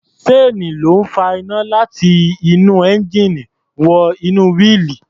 Ṣéènì ló ń fa iná láti inú ẹńjíìnì wọ inú wíìlì.